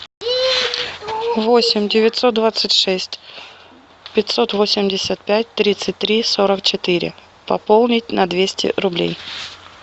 восемь девятьсот двадцать шесть пятьсот восемьдесят пять тридцать три сорок четыре пополнить на двести рублей